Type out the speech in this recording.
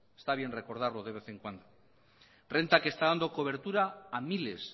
está bien recordarlo de vez en cuando renta que está dando cobertura a miles